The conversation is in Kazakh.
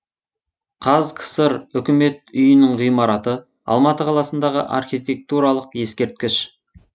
қазкср үкімет үйінің ғимараты алматы қаласындағы архитектуралық ескерткіш